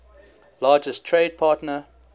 largest trade partner